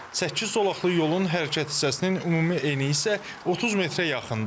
Səkkiz zolaqlı yolun hərəkət hissəsinin ümumi eni isə 30 metrə yaxındır.